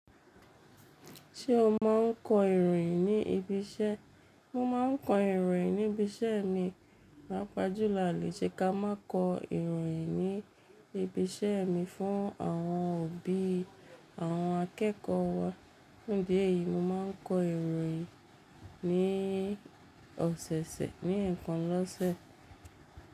Ṣé o máa ń kọ ìròyìn ní ibi iṣẹ́? Mo máa ń kọ ìròyìn ní ibi iṣẹ́ mi. Pàápàá jùlọ a o lè ṣe ká máa kọ ìròyìn ní ibi iṣẹ́ mi fún àwọn òbí àwọn akẹ́kọ̀ọ́ wa. Fún ìdí èyí, mo máa ń kọ ìròyìn ní ọ̀sẹ̀ẹ̀sẹ̀ ní ẹẹkan lọ́sẹ̀.